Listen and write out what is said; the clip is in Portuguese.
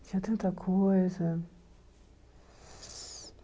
Tinha tanta coisa.